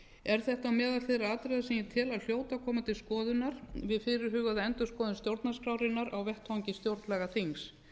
er þetta á meðal þeirra atriða sem ég tel að hljóti að koma til skoðunar við fyrirhugaða endurskoðun stjórnarskrárinnar á vettvangi stjórnlagaþings